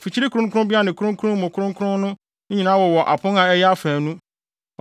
Mfikyiri kronkronbea ne Kronkron Mu Kronkron no nyinaa wowɔ apon a ɛyɛ afaanu.